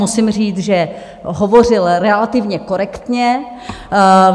Musím říct, že hovořil relativně korektně.